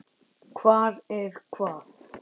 Hvar er hvað?